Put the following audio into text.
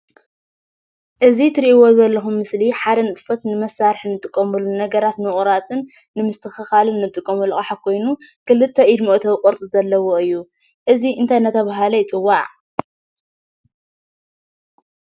እዚ እትሪእዎ ዘለኩም ምስሊ ሓደ ንጥፈት ንመሳሪሒ እንጥቀመሉ ነገራት ንምቁራፅን ንምስትክካልን ንጥቀመሉ አቃሓ ኮይኑ ክልተ ኢድ መእተዊ ቅርፂ ዘለዎ እዩ። እዚ እንታይ እናተባህለ ይፅዋዕ ?